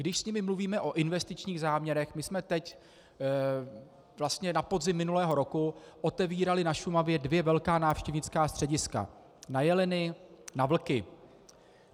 Když s nimi mluvíme o investičních záměrech - my jsme teď, vlastně na podzim minulého roku, otevírali na Šumavě dvě velká návštěvnická střediska, na jeleny, na vlky.